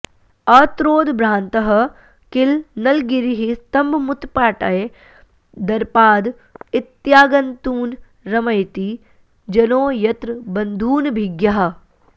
अत्रोद्भ्रान्तः किल नलगिरिः स्तम्भमुत्पाट्य दर्पाद् इत्यागन्तून् रमयति जनो यत्र बन्धूनभिज्ञाः